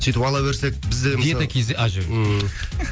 сөйтіп ала берсек бізде мысалы диета кз а жоқ